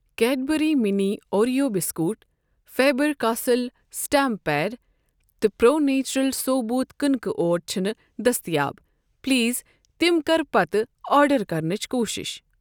Cadbury mini Oreo biscuit ,Faber Castell stamp pad تہٕ pro nature ثوبوٗت کٕنکہٕ out چھِنہٕ دٔستِیاب ، پلیز تِم کر پتہٕ آرڈر کرنٕچ کوٗشش۔